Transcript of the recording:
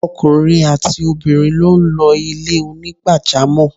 Okùnrin àti obìrin lo n lo Ilé onígbàjámò